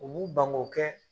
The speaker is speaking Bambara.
U b'u ban go kɛ